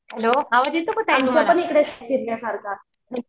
hello आवाज येतो का ताई